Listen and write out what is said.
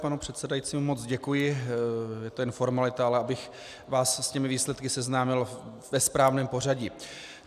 Panu předsedajícímu moc děkuji, je to jen formalita, ale abych vás s těmi výsledky seznámil ve správném pořadí.